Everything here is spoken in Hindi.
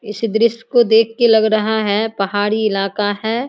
इस दृश्य को देख के लग रहा है पहाड़ी इलाका है।